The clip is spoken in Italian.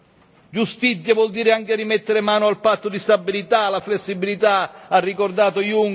Giustizia vuol dire anche rimettere mano al patto di stabilità, la flessibilità ha ricordato Junker.